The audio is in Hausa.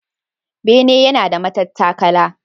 Bene yana da matattakala.